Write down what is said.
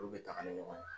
Olu bɛ taga ni ɲɔgɔn ye